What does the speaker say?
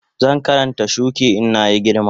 Zan Karanta shuki in na yi girma